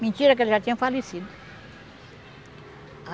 Mentira que ele já tinha falecido.